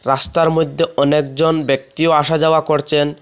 রাস্তার মধ্যে অনেকজন ব্যক্তিও আসা যাওয়া করছেন।